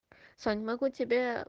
саня могу тебе